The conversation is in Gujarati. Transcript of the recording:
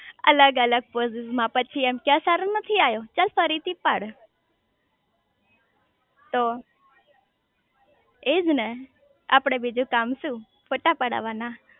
અલગ અલગ પોસીસ માં પછી કે આ સરો નથી આયો ચાલ ફરી થી પાડ તો એજ ને આપડે બીજું કામ શુ ફોટા પડવાના